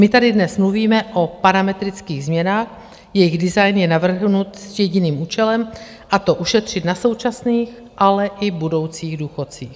My tady dnes mluvíme o parametrických změnách, jejichž design je navrhnut s jediným účelem, a to ušetřit na současných, ale i budoucích důchodcích.